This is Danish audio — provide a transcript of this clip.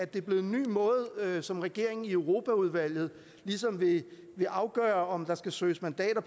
det er blevet en ny måde som regeringen og europaudvalget ligesom vil afgøre på om der skal søges mandater